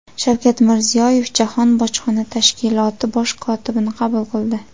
Shavkat Mirziyoyev Jahon bojxona tashkiloti bosh kotibini qabul qildi.